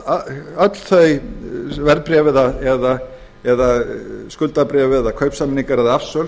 að öll þau verðbréf eða skuldabréf eða kaupsamningar eða afsöl